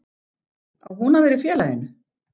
Á hún að vera í félaginu?